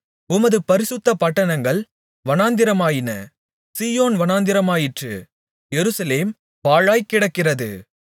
உமது பரிசுத்த பட்டணங்கள் வனாந்திரமாயின சீயோன் வனாந்திரமாயிற்று எருசலேம் பாழாய்க் கிடக்கிறது